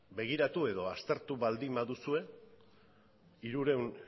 begiratu edo aztertu baduzue hirurehun